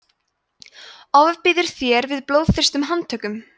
ofbýður þér við blóðþyrstum handtökum